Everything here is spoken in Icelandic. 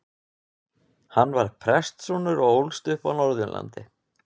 Hann var prestssonur og ólst upp á Norðurlandi.